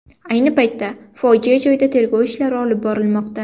Ayni paytda fojia joyida tergov ishlari olib borilmoqda.